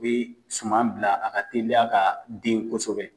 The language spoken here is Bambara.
I bɛ suman bila a ka teliya ka den kosɛbɛ.